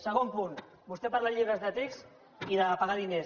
segon punt vostè parla de llibres de text i de pagar diners